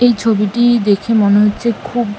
এই ছবিটি-ই দেখে মনে হচ্ছে খুব--